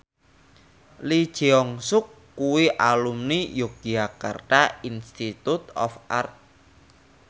Lee Jeong Suk kuwi alumni Yogyakarta Institute of Art